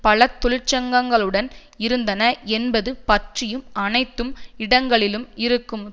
பல தொழிற்சங்கங்களுடன் இருந்தன என்பது பற்றியும் அனைத்தும் இடங்களிலும் இருக்கும்